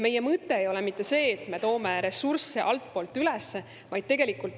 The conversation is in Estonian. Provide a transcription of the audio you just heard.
Meie mõte ei ole mitte see, et me toome ressursse altpoolt üles.